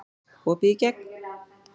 Opið í gegn